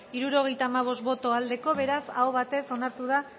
hirurogeita hamabost boto aldekoa beraz aho batez onartu da